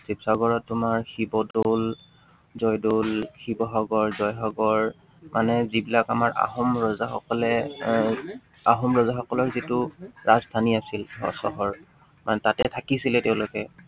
শিৱসাগৰত তোমাৰ শিৱদৌল, জয়দৌল, শিৱসাগৰ, জয়সাগৰ মানে যিবিলাক আমাৰ আহোম ৰজাসকলে আহ আহোম ৰজাসকলৰ যিটো ৰাজধানী আছিল, চহৰ, মানে তাতে থাকিছিলে তেওঁলোকে।